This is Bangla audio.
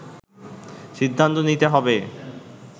সিদ্ধান্ত নিতে হবে